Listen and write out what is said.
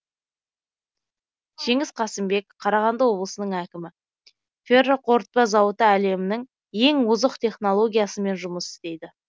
жеңіс қасымбек қарағанды облысының әкімі ферроқорытпа зауыты әлемнің ең озық технологиясымен жұмыс істейді